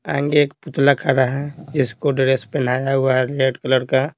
आंगे एक पुतला खड़ा है जिसको ड्रेस पहनाया हुआ है रेड कलर का।